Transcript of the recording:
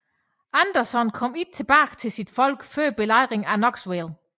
Anderson kom ikke tilbage til sine folk før Belejringen af Knoxville